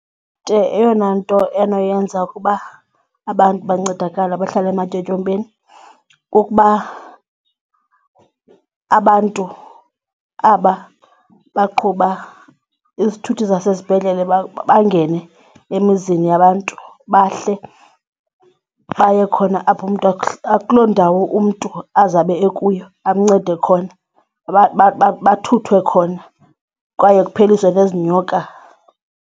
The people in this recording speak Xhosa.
eyona nto enoyenza ukuba abantu bancedakale abahlala ematyotyombeni kukuba abantu aba baqhuba izithuthi zasesibhedlele bangene emizini yabantu bahle baye khona apho umntu kuloo ndawo umntu azabe ekuyo amncede khona bathuthwe khona kwaye kupheliswe nezi nyoka.